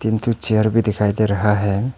दो चेयर भी दिखाई दे रहा है।